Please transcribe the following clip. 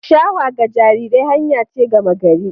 Shawa ga jarirai hanya ce gama gari